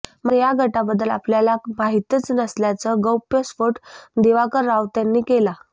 मात्र या गटाबद्दल आपल्याला माहितीच नसल्याचं गौप्यस्फोट दिवाकर रावतेंनी केला